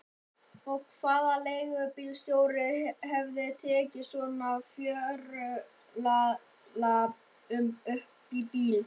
Og hvaða leigubílstjóri hefði tekið svona fjörulalla upp í bíl?